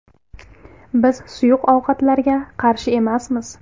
Biz suyuq ovqatlarga qarshi emasmiz.